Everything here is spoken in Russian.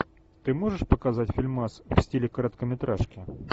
ты можешь показать фильмас в стиле короткометражки